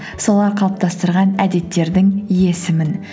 солар қалыптастырған әдеттердің иесімін